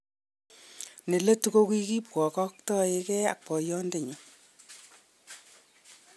Neletu kokikibwakaktege ak boyodenyun